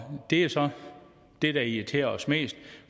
det er så det der irriterer os mest